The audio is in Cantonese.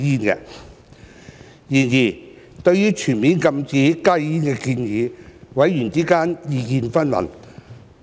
然而，對於全面禁止加熱煙的建議，委員之間意見紛紜。